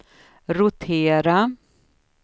rotera